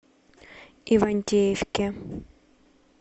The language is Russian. ивантеевке